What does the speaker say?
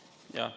Jah.